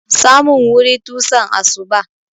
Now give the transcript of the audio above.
Samun wuri tusan asuba.